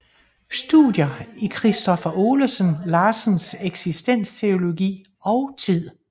Studier i Kristoffer Olesen Larsens eksistensteologi og tid